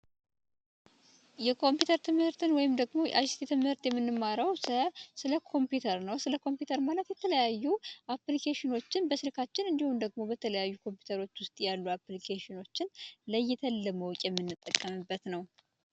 የኮምፒውተር ትምህርትን ወይም ደግሞ ስለ ኮምፒውተር ነው ስለ ኮምፒውተር ማለት ነው በስርካችን እንዲሁም ደግሞ በተለያዩ ኮምፒውተሮች ውስጥ ያሉ አፕልኬሽኖችን ለይተን ለመጠቀምበት ነው